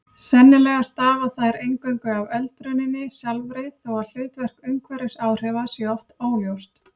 Sennilega stafa þær eingöngu af öldruninni sjálfri þó að hlutverk umhverfisáhrifa sé oft óljóst.